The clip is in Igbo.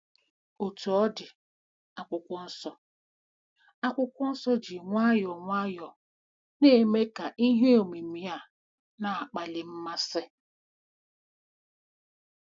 Otú ọ dị, Akwụkwọ Nsọ Akwụkwọ Nsọ ji nwayọọ nwayọọ na-eme ka ihe omimi a na-akpali mmasị.